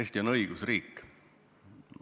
Eesti on õigusriik.